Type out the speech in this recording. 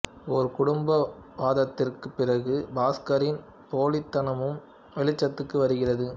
ஒரு குடும்ப வாதத்திற்குப் பிறகு பாஸ்கரின் போலித்தனமும் வெளிச்சத்துக்கு வருகிறது